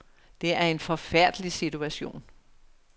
Det er en forfærdelig situation.